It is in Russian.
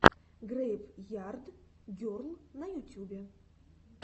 грэйв ярд герл на ютюбе